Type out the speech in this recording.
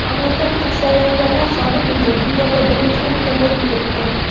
Mamlakat kasallanganlar soni bo‘yicha dunyoda birinchi o‘rinda bo‘lib turibdi.